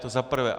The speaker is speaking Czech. To za prvé.